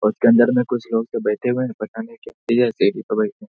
उसके अंदर में कुछ लोग तो बैठे हुए हैं पता नहीं पे बैठे --